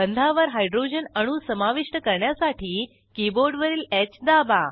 बंधावर हायड्रोजन अणू समाविष्ट करण्यासाठी कीबोर्डवरील ह दाबा